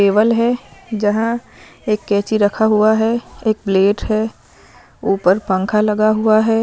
Table है जहां एक कैंची रखा हुआ है एक प्लेट है ऊपर पंखा लगा हुआ है।